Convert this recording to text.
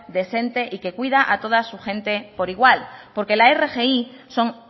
decente y que cuida a toda su gente por igual porque la rgi son